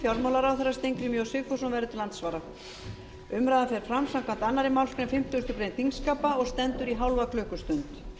fjármálaráðherra steingrímur j sigfússon verður til andsvara umræðan fer fram samkvæmt annarri málsgrein fimmtugustu grein þingskapa og stendur í hálfa klukkustund